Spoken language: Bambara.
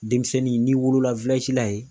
Denmisɛnnin n'i wolola la yen.